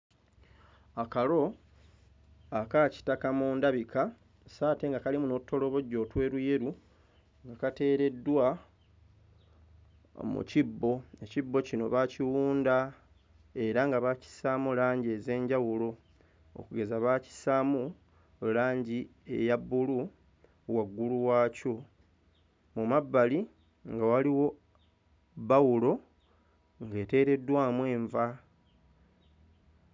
Akalo akakitaka mu ndabika sso ate nga kalimu n'otutolobojjo otweruyeru nga kateereddwa mu kibbo, ekibbo kino baakiwunda era nga baakissaamu langi ez'enjawulo okugeza bakissaamu langi eya bbulu waggulu waakyo, mu mabbali nga waliwo bbawulo ng'eteereddwamu enva.